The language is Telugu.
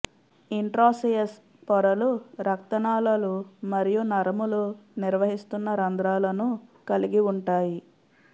ఇంట్రాస్సెయస్ పొరలు రక్తనాళాలు మరియు నరములు నిర్వహిస్తున్న రంధ్రాలను కలిగి ఉంటాయి